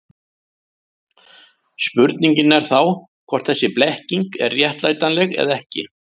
Spurningin er þá hvort þessi blekking er réttlætanleg eða ekki.